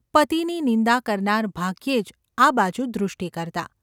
પતિની નિંદા કરનાર ભાગ્યે જ આ બાજુ દૃષ્ટિ કરતાં.